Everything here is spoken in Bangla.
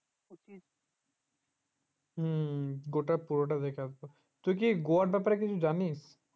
হুম গোটা পুরোটা দেখে আসতে হবে তুই কি গোয়ার ব্যাপারে কিছু জানি